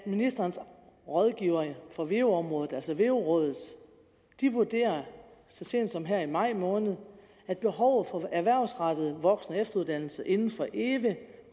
ministerens rådgivere på veu området altså veu rådet vurderede så sent som her i maj måned at behovet for erhvervsrettet voksen og efteruddannelse inden for eve